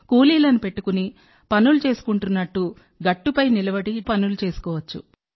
కూలీలను పెట్టుకుని పనులు చేసుకున్నట్టు గట్టుపై నిలబడి డ్రోన్తో పనులు చేసుకోవచ్చు